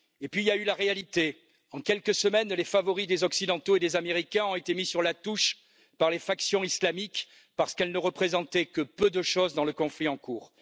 Et puis il y a eu la réalité en quelques semaines, les favoris des Occidentaux et des Américains ont été mis sur la touche par les factions islamiques, parce qu'elles ne représentaient que peu de chose dans le conflit en cours.